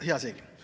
Hea seegi!